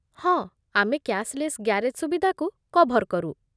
ହଁ, ଆମେ cashless garage ସୁବିଧାକୁ କଭର୍ କରୁ।